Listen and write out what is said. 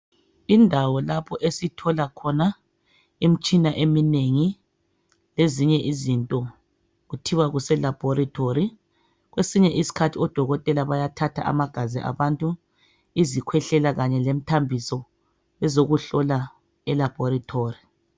Indawo lapho esithola khona imitshina eminengi lezinye izinto kuthiwa kuseLaboratory. Kwesinye isikhathi odokotela bayathatha amagazi abantu, izikhwehlela kanye lemithambiso, bezekuhlola eLaboratory.